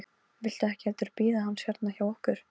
Viltu ekki heldur bíða hans hérna hjá okkur?